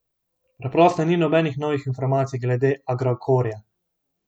Preprosto ni nobenih novih informacij glede Agrokorja.